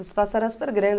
O espaço era super grande.